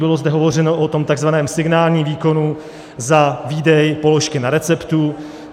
Bylo zde hovořeno o tom tzv. signálním výkonu za výdej položky na receptu.